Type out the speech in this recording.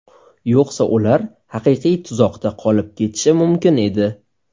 Yo‘qsa ular haqiqiy tuzoqda qolib ketishi mumkin edi.